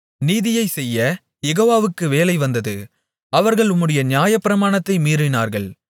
நீதியைச்செய்யக் யெகோவாவுக்கு வேளை வந்தது அவர்கள் உம்முடைய நியாயப்பிராணத்தை மீறினார்கள்